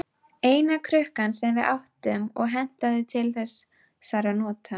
Eina krukkan sem við áttum og hentaði til þessara nota.